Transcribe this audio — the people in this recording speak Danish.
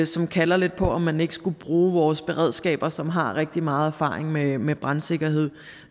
som kalder lidt på om man ikke skulle bruge vores beredskaber som har rigtig meget erfaring med med brandsikkerhed